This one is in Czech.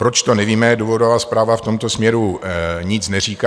Proč, to nevíme, důvodová zprávy v tomto směru nic neříká.